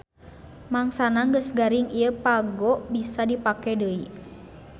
Mangsana geus garing ieu pago bisa dipake deui.